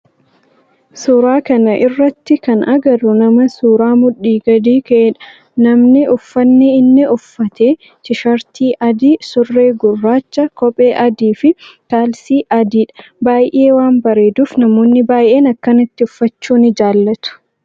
Suuraa kana irratti kana agarru nama suuraa mudhii gadi ka'eedha. Namni uffanni inni uffate tisheertii adii, surree gurraachaa, kophee adii fi kaalsii adiidha. Baayyee waan bareeduf Namoonni baayyeen akkanatti uffachuu ni jaallatu.